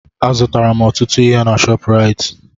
Azụtara m ọtụtụ ihe na Shọpraịt.